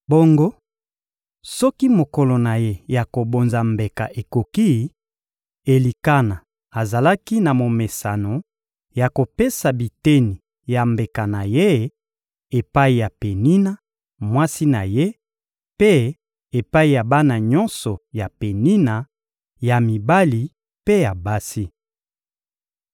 Bongo, soki mokolo na ye ya kobonza mbeka ekoki, Elikana azalaki na momesano ya kopesa biteni ya mbeka na ye epai ya Penina, mwasi na ye, mpe epai ya bana nyonso ya Penina, ya mibali mpe ya basi.